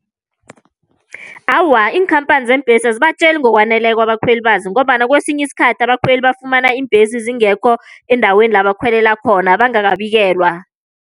Awa, iinkhamphani zeembhesi azibatjeli ngokwaneleko abakhweli bazo, ngombana kwesinye isikhathi abakhweli bafumana iimbhesi zingekho endaweni la bakhwelela khona bangakabikelwa.